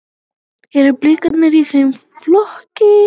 Eru Blikar í þeim flokki?